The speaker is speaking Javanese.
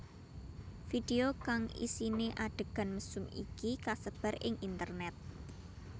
Video kang isiné adhegan mesum iki kasebar ing internét